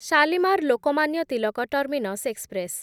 Shalimar Lokmanya Tilak terminus express